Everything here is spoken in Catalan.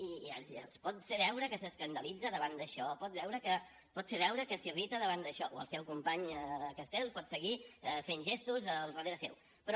i pot fer veure que s’escandalitza davant d’això pot fer veure que s’irrita davant d’això o el seu company castel pot seguir fent gestos al darrere seu però